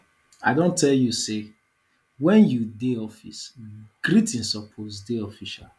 i don tell you sey wen you dey office greeting suppose dey official